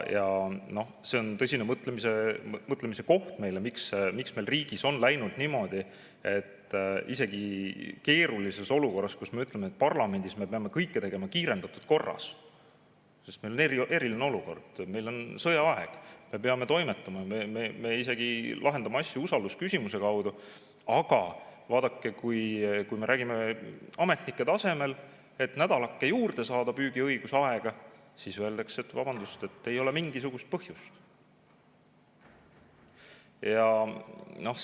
Ja noh, see on tõsine mõtlemise koht, miks meil riigis on läinud niimoodi, et isegi keerulises olukorras, kui me peame parlamendis kõike tegema kiirendatud korras, sest meil on eriline olukord, meil on sõjaaeg, me peame toimetama, me isegi lahendame asju usaldusküsimuse kaudu, siis aga vaadake, kui me räägime ametnike tasemel, et nädalake juurde saada püügiõiguse aega, siis öeldakse, et vabandust, ei ole mingisugust põhjust.